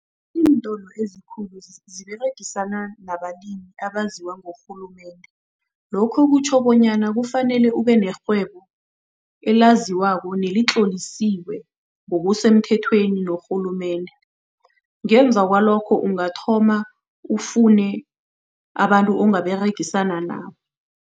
Iintolo ezikhulu ziberegisana nabalimi abaziwa ngurhulumende. Lokho kutjho bonyana kufanele ubenerhwebo elaziwako nelitlolisiwe ngokusemthethweni norhulumende. Ngemva kwalokho, ungathoma ufune abantu ongaberegisana nabo.